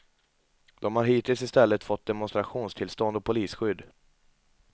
De har hittills i stället fått demonstrationstillstånd och polisskydd.